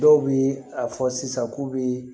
Dɔw bɛ a fɔ sisan k'u bɛ